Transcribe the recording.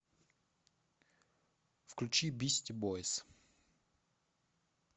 включи бисти бойз